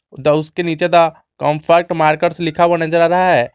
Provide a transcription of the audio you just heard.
The उसके नीचे का द कंफर्ट मार्कर्स लिखा हुआ नजर आ रहा है।